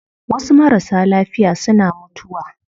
Wasu marasa lafiya suna mutuwa